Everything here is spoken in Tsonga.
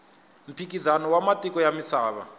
mphikizano wa matiko ya misava